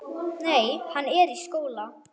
Nei, hann er í skóla.